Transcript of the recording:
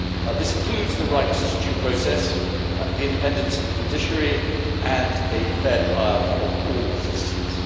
This includes the right to due process, the independence of the judiciary, and a fair trial for all citizens.